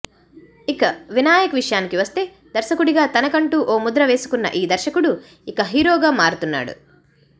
ఇక వినాయక్ విషయానికి వస్తే దర్శకుడిగా తన కంటూ ఓ ముద్ర వేసుకున్న ఈ దర్శకుడు ఇక హీరోగా మారుతున్నాడు